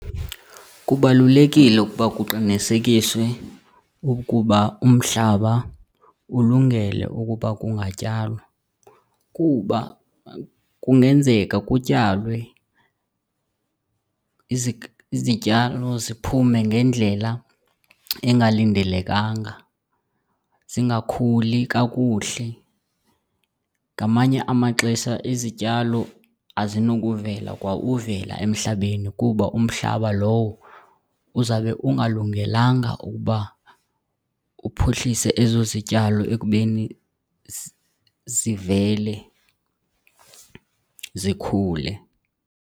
Kubalulekile ukuba kuqinisekiswe ukuba umhlaba ulungele ukuba kungatyalwa kuba kungenzeka kutyalwe, izityalo ziphume ngendlela engalindelekanga, zingakhuli kakuhle. Ngamanye amaxesha izityalo azinokuvela kwa uvela emhlabeni kuba umhlaba lowo uzawube ungalungelanga ukuba uphuhlise ezo zityalo ekubeni zivele zikhule.